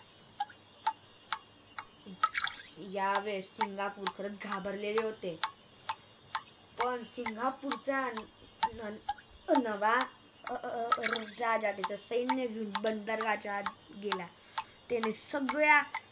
यावेळेस सिंगापूरकर घाबरलेले होते अर पण सिंगापूरचा अं नवा अं राजा त्याच सैन्य घेऊन बंद दरवाज्यात गेला त्याने सगळ्या